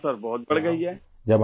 ہاں سر ، اس میں بہت اضافہ ہوا ہے